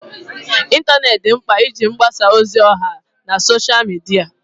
ịntanetị di nkpa iji mgbasa ozi ọha na Sọsha midia